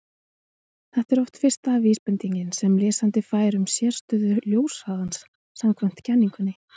þetta er oft fyrsta vísbendingin sem lesandi fær um sérstöðu ljóshraðans samkvæmt kenningunni